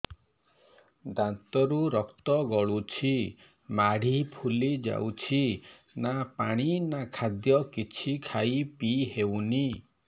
ଦାନ୍ତ ରୁ ରକ୍ତ ଗଳୁଛି ମାଢି ଫୁଲି ଯାଉଛି ନା ପାଣି ନା ଖାଦ୍ୟ କିଛି ଖାଇ ପିଇ ହେଉନି